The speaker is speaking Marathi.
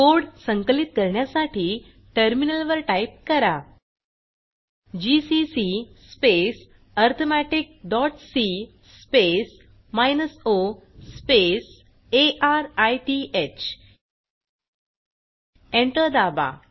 कोड संकलित करण्यासाठी टर्मिनलवर टाईप करा GCC space arithmetic dot c space minus o space arith enter दाबा